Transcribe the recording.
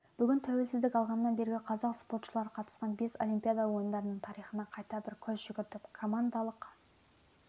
бүгін тәуелсіздік алғаннан бергі қазақ спортшылары қатысқан бес олимпиада ойындарының тарихына қайта бір көз жүгіртіп командалык